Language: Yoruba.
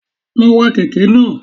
Lọ wa kèké náà